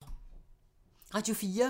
Radio 4